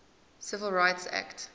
civil rights act